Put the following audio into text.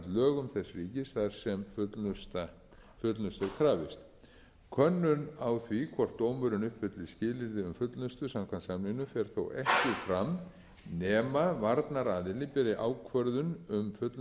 lögum þess ríkis þar sem fullnustu er krafist könnun á því hvort dómurinn uppfylli skilyrði samkvæmt samningnum fer þó ekki fram nema varnaraðili beri ákvörðun um fullnustuhæfi undir